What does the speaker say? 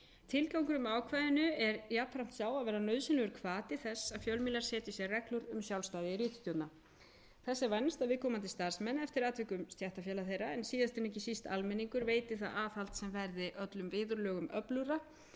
tilgangurinn með ákvæðinu er jafnframt sú að vera nauðsynlegur hvati þess að fjölmiðlar setji sér reglur um sjálfstæði ritstjórna þess er vænst að viðkomandi starfsmenn eftir atvikum stéttarfélag þeirra en síðast en ekki síst almenningur veiti það aðhald sem verði öllum viðurlögum öflugra